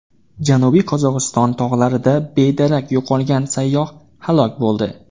Janubiy Qozog‘iston tog‘larida bedarak yo‘qolgan sayyoh halok bo‘ldi.